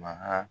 Maha